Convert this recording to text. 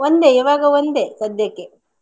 ಒಂದೇ ಇವಾಗ ಒಂದೇ ಸದ್ಯಕ್ಕೆ.